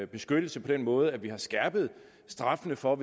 beskyttelse på den måde at vi har skærpet straffene for